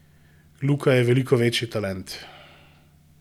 Luka je veliko večji talent!